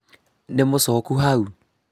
nĩmũcoku hau?